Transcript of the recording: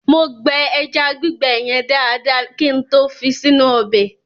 Mo gbẹ ẹja gbígbẹ yẹn dáadáa kin tó fi sínú ọbẹ̀.